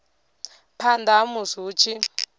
phanda ha musi hu tshi